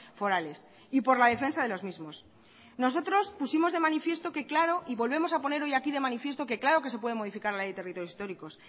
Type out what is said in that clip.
forales y por la defensa de los mismos nosotros pusimos de manifiesto y volvemos a poner hoy aquí de manifiesto que claro que se puede modificar la ley de territorios históricos